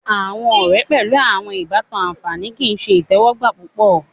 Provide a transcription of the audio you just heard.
Awọn ọrẹ pẹlu awọn ibatan anfani kii ṣe itẹwọgba pupọ